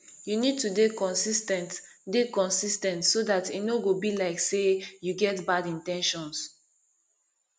you need to dey consis ten t dey consis ten t so dat e no go be like sey you get bad in ten tions